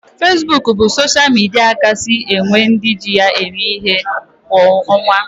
Fesbuk bụ sosha midia kasị nwe ndị ji ya eme ihe kwa ọnwa